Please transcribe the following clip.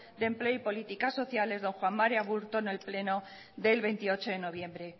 de empleo y política social don juan mari aburto en el pleno del veintiocho de noviembre